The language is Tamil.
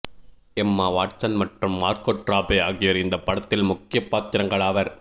எம்மா வாட்சன் மற்றும் மார்கோட் ராபி ஆகியோர் இந்த படத்தில் முக்கிய பாத்திரங்கள் ஆவர்